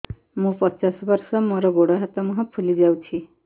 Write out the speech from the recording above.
ମୁ ପଚାଶ ବର୍ଷ ମୋର ଗୋଡ ହାତ ମୁହଁ ଫୁଲି ଯାଉଛି